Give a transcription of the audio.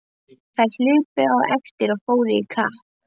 Þær hlupu á eftir og fóru í kapp.